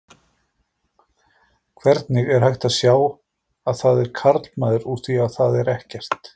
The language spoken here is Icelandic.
Hvernig er hægt að sjá að það er karlmaður úr því að það er ekkert?